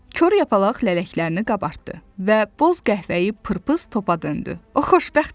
Kor Yapaq lələklərini qabartdı və boz qəhvəyi pırpız topa döndü.